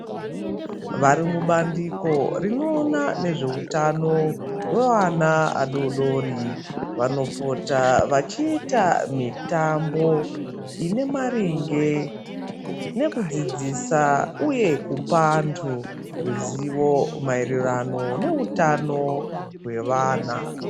Varimubandiko rinoona nezveutano wevana adodori vanopota vachiita mitambo inemaringe nekudzidzisa uye kupa antu ruzivo mairirano neutano hwevana.